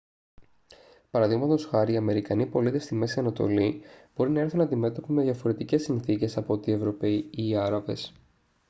παραδείγματος χάρη οι αμερικανοί πολίτες στη μέση ανατολή μπορεί να έρθουν αντιμέτωποι με διαφορετικές συνθήκες από ό,τι οι ευρωπαίοι ή οι άραβες